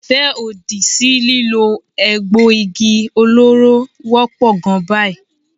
Ìfẹ́ òdì sí lílo egbò igi olóró wọ́pọ̀ gan báyìí.